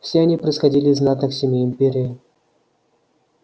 все они происходили из знатных семей империи